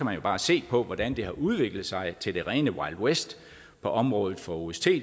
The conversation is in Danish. man bare se på hvordan det har udviklet sig til det rene wild west på området for ost